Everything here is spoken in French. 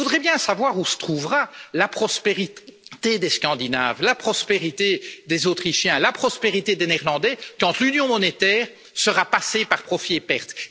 Je voudrais bien savoir où se trouvera la prospérité des Scandinaves, la prospérité des Autrichiens, la prospérité des Néerlandais quand l'union monétaire sera passée par profits et pertes.